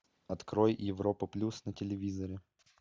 открой европа плюс на телевизоре